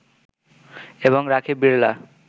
এবং রাখি বিড়লা